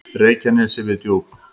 Reykjanesi við Djúp.